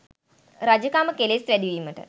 රජකම කෙලෙස් වැඩීමට